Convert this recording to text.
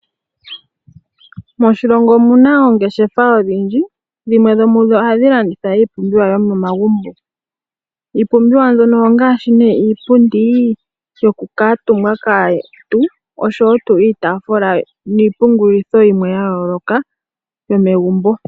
Moshilongo omuna oongeshefa odhindji dhimwe dhomudho ohadhi landitha iipumbiwa yomomagumbo. Iipumbiwa mbyono ongaashi nee iipundi yokukiitumbwa kaantu osho woo iitafula niipungulitho yimwe yayooloka yomegumbo.